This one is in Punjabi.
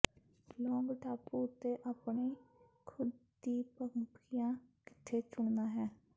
ਲੌਂਗ ਟਾਪੂ ਉੱਤੇ ਆਪਣੀ ਖੁਦ ਦੀ ਪੰਪਕੀਆਂ ਕਿੱਥੇ ਚੁਣਨਾ ਹੈ